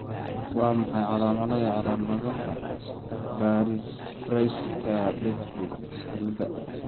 Waa maxay calaamadaha iyo astaamaha Baraitser Brett Piesowicz cilada?